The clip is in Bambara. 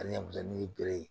Ani yapilɛri bere ye